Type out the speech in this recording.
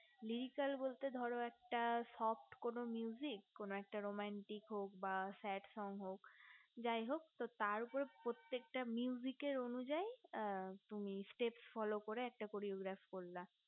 radical বলতে ধরো একটা sort কোনো কোনো একটা romantic হোক বা sadfrom হোক যাই হোক তার উপর প্রত্যেকটা এর অনুযাই তুমি stepfollow করে একটা choreograph করলা